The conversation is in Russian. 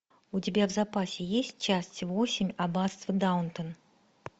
у тебя в запасе есть часть восемь аббатство даунтон